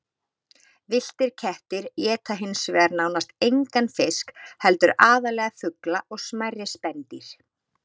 Villtir kettir éta hins vegar nánast engan fisk heldur aðallega fugla og smærri spendýr.